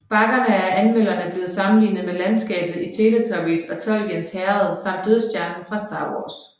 Bakkerne er af anmeldere blevet sammenlignet med landskabet i Teletubbies og Tolkiens Herredet samt Dødstjernen fra Star Wars